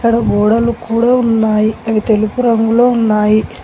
ఆడ గోడలు కూడా ఉన్నాయి అవి తెలుపు రంగులో ఉన్నాయి.